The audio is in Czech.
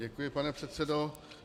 Děkuji, pane předsedo.